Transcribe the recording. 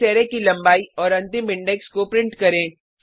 इस अरै की लंबाई और अंतिम इंडेक्स को प्रिंट करें